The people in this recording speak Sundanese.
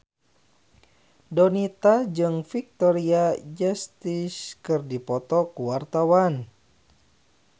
Donita jeung Victoria Justice keur dipoto ku wartawan